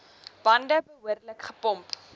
bande behoorlik gepomp